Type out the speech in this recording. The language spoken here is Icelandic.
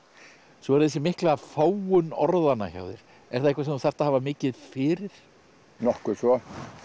svo er þessi mikla fágun orðanna hjá þér er það eitthvað sem þú þarft að hafa mikið fyrir nokkuð svo